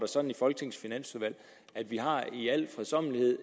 sådan i folketingets finansudvalg at vi i al fredsommelighed